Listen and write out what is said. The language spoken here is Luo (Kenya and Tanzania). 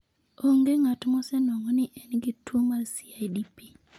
Onge ng'at mosenwang'o ni en gi tuwo mar CIDP.